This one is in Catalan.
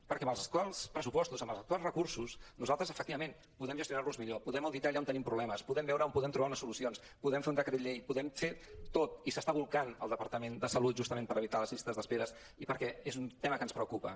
perquè amb els actuals pressupostos amb els actuals recursos nosaltres efectivament podem gestionar los millor podem auditar allà on tenim problemes podem veure on podem trobar unes solucions podem fer un decret llei podem fer tot i s’està bolcant el departament de salut justament per evitar les llistes d’espera i perquè és un tema que ens preocupa